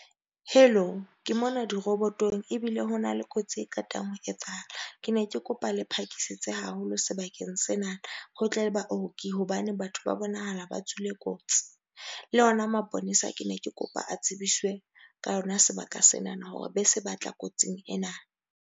Hello, ke mona dirobotong ebile ho na le kotsi e qetang ho etsahala. Ke ne ke kopa le phakisitse haholo sebakeng sena. Ho tle baoki hobane batho ba bonahala ba tswile kotsi, le yona maponesa ke ne ke kopa a tsebiswe ka yona sebaka sena na hore be se batla kotsing ena.